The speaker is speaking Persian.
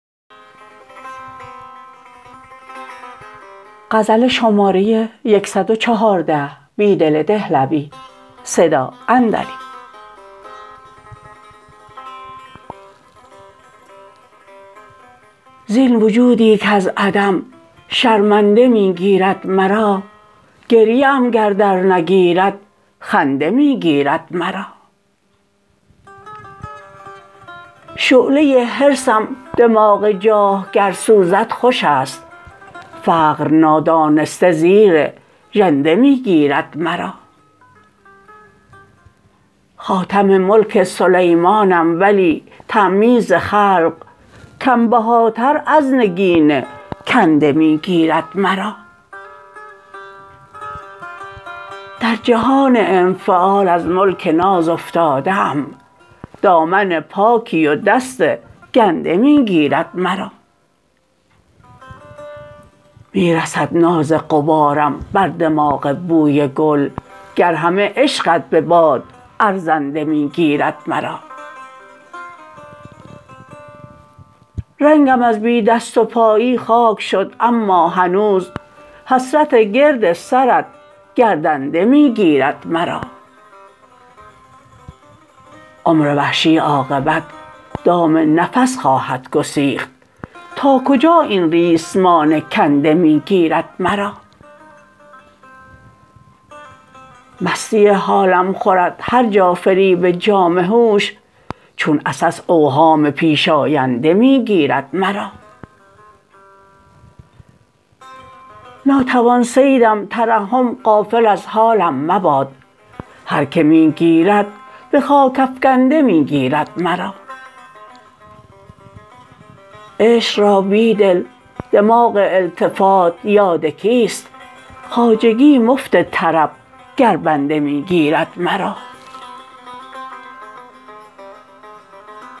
زین وجودی کز عدم شرمنده می گیرد مرا گریه ام گر درنگیرد خنده می گیرد مرا شعله حرصم دماغ جاه گر سوزد خوشست فقر نادانسته زیر ژنده می گیرد مرا خاتم ملک سلیمانم ولی تمییز خلق کم بهاتر از نگین کنده می گیرد مرا در جهان انفعال از ملک ناز افتاده ام دامن پاکی و دست گنده می گیرد مرا می رسد ناز غبارم بر دماغ بوی گل گر همه عشقت به باد ارزنده می گیرد مرا رنگم از بی دست و پایی خاک شد اما هنوز حسرت گرد سرت گردنده می گیرد مرا عمروحشی عاقبت دام نفس خواهدگسیخت تاکجا این ریسمان کنده می گیرد مرا مستی حالم خورد هرجا فریب جام هوش چون عسس اوهام پیش آینده می گیرد مرا ناتوان صیدم ترحم غافل از حالم مباد هرکه می گیرد به خاک افکنده می گیرد مرا عشق را بیدل دماغ التفات یادکیست خواجگی مفت طرب گر بنده می گیرد مرا